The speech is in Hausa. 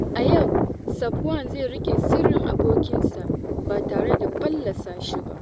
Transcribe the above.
A yau, Safwan zai riƙe sirrin abokinsa ba tare da fallasa shi ba.